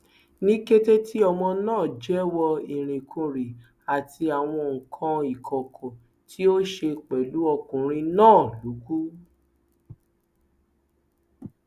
ní kété tí ọmọ náà jẹwọ irinkurin àti àwọn nǹkan ìkọkọ tí ó ṣe pẹlú ọkùnrin náà ló kù